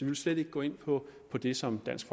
vil slet ikke gå ind på det som dansk